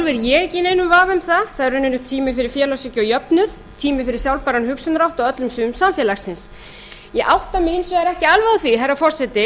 í neinum vafa um það það eru í rauninni tími fyrir félagshyggju og jöfnuð tími fyrir sjálfbæran hugsunarhátt á öllum sviðum samfélagsins ég átta mig hins vegar ekki alveg á því herra forseti